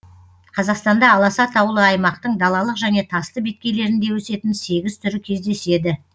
қазақстанда аласа таулы аймақтың далалық және тасты беткейлерінде өсетін сегіз түрі кездеседі